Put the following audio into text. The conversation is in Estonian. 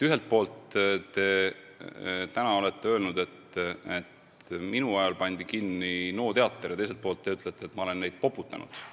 Ühelt poolt te olete öelnud, et minu ajal pandi kinni NO teater, ja teiselt poolt te ütlete, et ma olen neid poputanud.